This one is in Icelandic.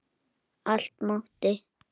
Allt mátti.